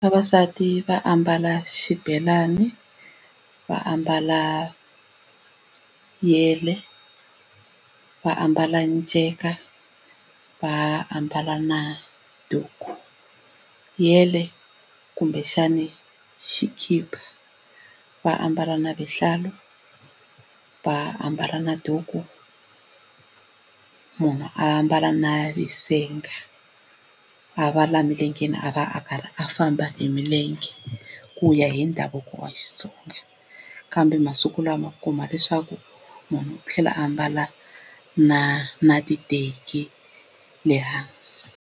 Vavasati va ambala xibelani va ambala yele va ambala nceka va ambala na duku yele kumbexani xikipa va ambala na vuhlalu va ambala na duku munhu a ambala visenga a va la emilengeni a va a karhi a famba hi milenge ku ya hi ndhavuko wa Xitsonga kambe masiku lama u ku kuma leswaku munhu u tlhela a mbala na na titeki le hansi.